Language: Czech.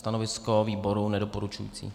Stanovisko výboru nedoporučující.